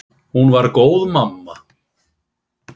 Hún var góð mamma.